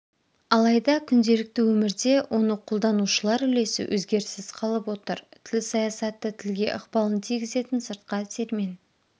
алайда күнделікті өмірде оны қолданушылар үлесі өгеріссіз қалып отыр тіл саясаты тілге ықпалын тигізетін сыртқы әсермен